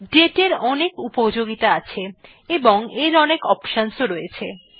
date এর অনেক উপযোগিতা আছে এবং এর অনেক অপশন রয়েছে